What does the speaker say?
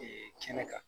kɛnɛ kan